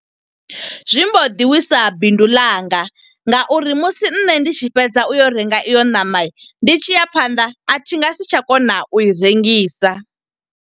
Zwi mbo ḓi wisa bindu ḽanga, nga uri musi nṋe ndi tshi fhedza u yo renga iyo ṋama. Ndi tshiya phanḓa, a thi nga si tsha kona u i rengisa.